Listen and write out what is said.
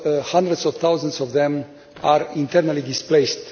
Hundreds of thousands of them are internally displaced.